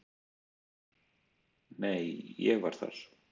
"""Nei, ég var þar"""